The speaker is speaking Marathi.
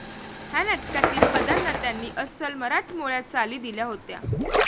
ह्या नाटकातील पदांना त्यांनी अस्सल मराठमोळ्या चाली दिल्या होत्या.